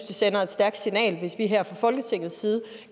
det sender et stærkt signal hvis vi her fra folketingets side